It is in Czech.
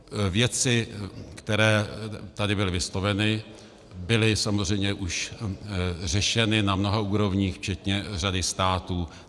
Věci, které tady byly vysloveny, byly samozřejmě už řešeny na mnoha úrovních včetně řady států.